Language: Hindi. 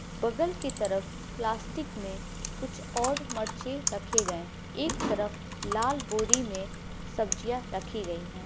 बगल की तरफ प्लास्टिक में कुछ और मर्चे रखे गए हैं एक तरफ लाल बोरी में सब्जिया रखी गईं हैं।